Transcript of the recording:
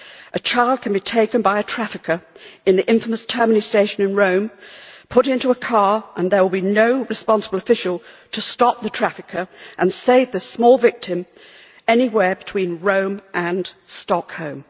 A child can be taken by a trafficker in the infamous Termini station in Rome and put into a car, and there will be no responsible official to stop the trafficker and save this small victim anywhere between Rome and Stockholm.